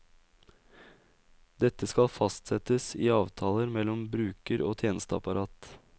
Dette skal fastsettes i avtaler mellom bruker og tjenesteapparat.